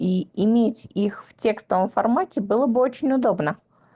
и иметь их в текстовом формате было бы очень удобно